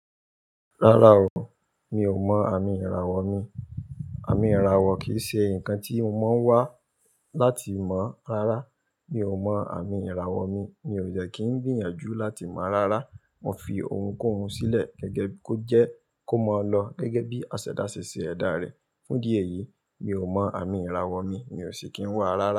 Rárá o, mi ò mọ àmì ìràwọ̀ mi. Àmì ìràwọ̀ kì í ṣe nǹkan tí mo máa ń wá láti mọ̀. Rárá, mi ò mọ àmì ìràwọ̀ mi. Mi ò dẹ kí ń gbìyànjú láti mọ̀ rárá. Mo fi ohun kohun sílẹ̀ gẹ́gẹ́ kó jẹ́ kó máa lọ gẹ́gẹ́ bí àsẹ̀dá ṣe ṣe ẹ̀dá rẹ̀. Fún idí eyìí, mi ò mọ àmì ìràwọ̀ mi. Mi ò ṣi kí ń wà rárá.